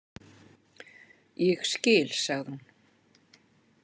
Ég skil, sagði hún.